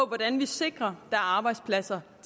hvordan vi sikrer at er arbejdspladser